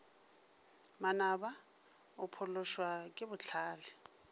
manaba o phološwa ke bohlale